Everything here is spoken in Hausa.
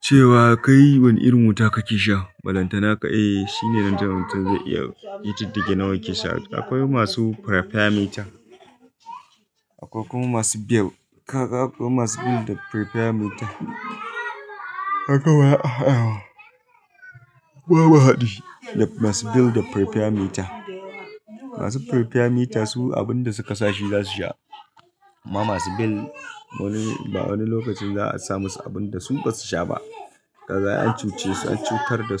cewa kai wane irin wuta kake sha? Ballantana, eh, shine nan jan wuta zai iya yi ƙididdige nawa kake sha. Akwai masu prepaid meter, akwai kuma masu bill. Kaga akwai masu bill da prepaid meter. Haka wa ya a yawa. Babu haɗi. Da masu bill da prepaid meter. Masu prepaid meter su abin da suka sashi za su sha, amma masu bill wani, ba wani lokacin za'a sa musu abin da su ba su sha ba. Kaga ai an cuce su, an cutar da.